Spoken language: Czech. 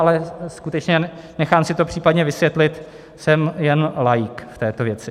Ale skutečně, nechám si to případně vysvětlit, jsem jen laik v této věci.